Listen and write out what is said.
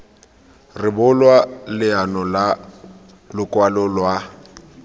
rebolwa leano la lokwalo lwa